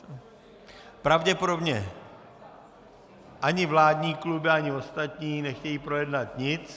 Pravděpodobně ani vládní kluby, ani ostatní nechtějí projednat nic...